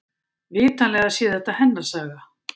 Vitanlega sé þetta hennar saga.